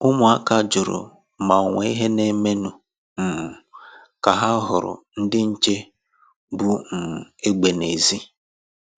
Ụmụ̀áka jụrụ ma onwe ìhè na-eme nụ um ka ha hụrụ ndị nche bu um egbe n’èzí.